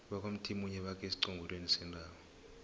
bakwamthimunye bakhe esiqongolweni sentaba